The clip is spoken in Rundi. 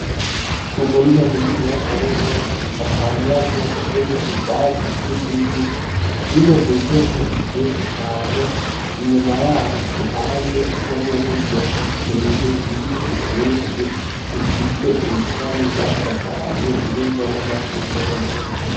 Umurima muniniya cane gwose udakangaje harimwo ivyatsi vy'ugwiri vyimejejemwo vyinshi cane ,inyuma y'aho ku ruhande gwo muburyo hateye ibiti vyinshi bifise ibishami vyasagaraye birimwo n'amashugwe yera.